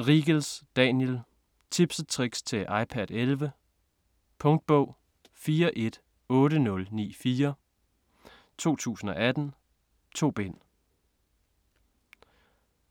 Riegels, Daniel: Tips & tricks til iPad 11 Punktbog 418094 2018. 2 bind.